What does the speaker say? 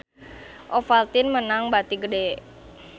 Ovaltine meunang bati gede